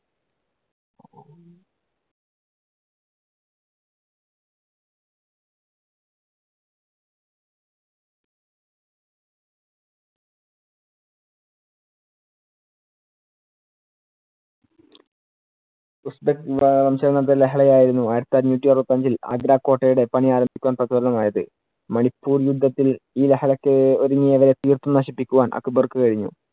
ലഹളയായിരുന്നു ആയിരത്തി അഞ്ഞൂറ്റി അറുപത്തിയഞ്ചിൽ ആഗ്രാകോട്ടയുടെ പണി ആരംഭിക്കുവാൻ പ്രചോദനമായത്. മണിപ്പൂർ യുദ്ധത്തിൽ ഈ ലഹളയ്ക്ക് ഒരുങ്ങിയവരെ തീർത്തും നശിപ്പിക്കുവാൻ അക്ബർക്ക് കഴിഞ്ഞു.